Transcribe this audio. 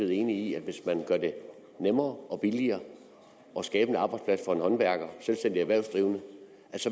enig i at hvis man gør det nemmere og billigere at skabe en arbejdsplads for en håndværker en selvstændig erhvervsdrivende